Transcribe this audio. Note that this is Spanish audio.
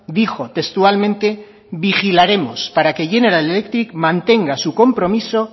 dijo textualmente vigilaremos para que general electric mantenga su compromiso